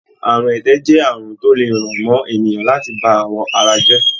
Àrùn ẹ̀tẹ̀ jẹ́ àrùn tó le ràn mọ́ ènìyàn láti bá àwọ̀ ara jẹ́.